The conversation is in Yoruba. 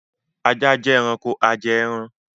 Ajá jẹ́ ẹranko ajẹẹran